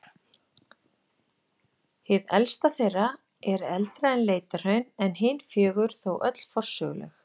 Hið elsta þeirra er eldra en Leitahraun en hin fjögur þó öll forsöguleg.